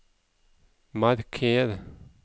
marker